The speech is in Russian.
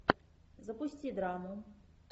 запусти драму